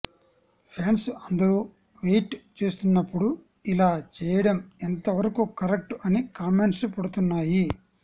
fans అందరూ wait చేస్తున్నప్పుడు ఇలా చేయడం ఎంతవరకూ కరెక్ట్ అని కామెంట్స్ పడుతున్నాయి